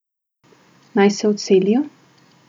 Naj se odselijo?